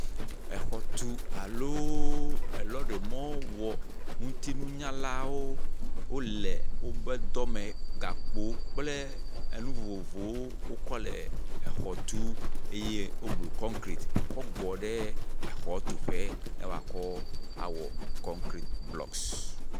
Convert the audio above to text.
Exɔtu alo lɔɖimɔwɔ ŋutinunyalawo wole wobe dɔ me gakpowo kple enu vovovowo wokɔ le axɔ tum eye woblu kɔnkrati kɔ gɔ ɖe xɔ tu ƒe alo awɔ kɔnkrat blɔks.